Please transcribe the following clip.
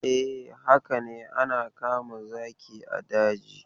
E, haka ne ana kama zaki a daji.